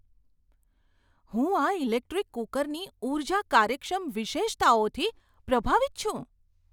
હું આ ઇલેક્ટ્રિક કૂકરની ઊર્જા કાર્યક્ષમ વિશેષતાઓથી પ્રભાવિત છું!